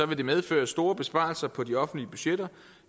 det medføre store besparelser på de offentlige budgetter